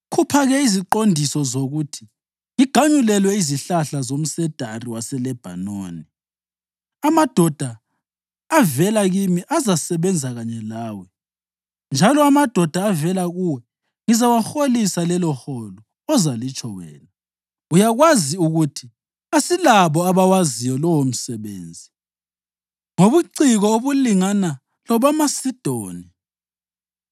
Khupha-ke iziqondiso zokuthi ngiganyulelwe izihlahla zomsedari waseLebhanoni. Amadoda avela kimi azasebenza kanye lawe, njalo amadoda avela kuwe ngizawaholisa leloholo ozalitsho wena. Uyakwazi ukuthi asilabo abawaziyo lowomsebenzi ngobuciko obungalingana lobamaSidoni.”